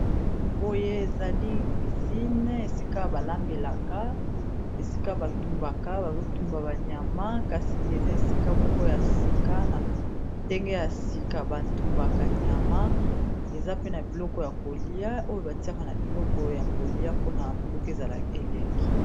Boye ezali cuisine esika balambelaka esika batumbaka bazotumba ba nyama kasi eza esika moko ya sika na ndenge ya sika batumbaka nyama eza pe na biloko ya kolia oyo batiaka na biloko ya kolia mpona biloko ezala elengi.